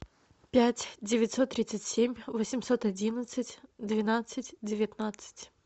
пять девятьсот тридцать семь восемьсот одиннадцать двенадцать девятнадцать